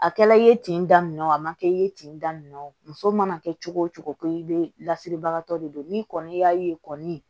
A kɛla i ye tin daminɛ o ma kɛ i ye ten daminɛ o muso mana kɛ cogo o cogo ko bɛ lasiribagatɔ de don n'i kɔni y'a ye kɔni